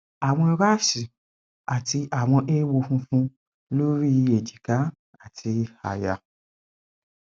awọn raṣi ati awọn eewo funfun lori èjìká ati aya